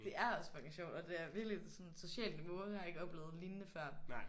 Det er også fucking sjovt og det er virkeligt sådan socialt på en måde jeg ikke har oplevet lignende før